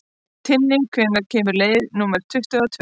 Tinni, hvenær kemur leið númer tuttugu og tvö?